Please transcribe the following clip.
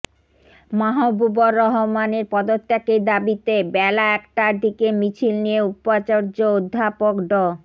মাহবুবর রহমানের পদত্যাগের দাবিতে বেলা একটার দিকে মিছিল নিয়ে উপাচর্য অধ্যাপক ড